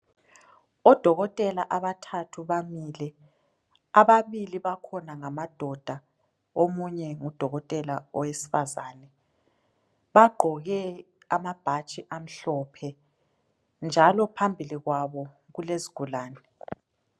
Odokotela abathathu bamile, ababili bakhona ngamadoda omunye ngudokotela wesifazane ,bagqoke amabhatshi amhlophe njalo phambili kwabo kulesigulane .